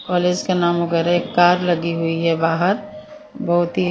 college के नाम वगेरे कार लगी हुई बाहर बहोत ही--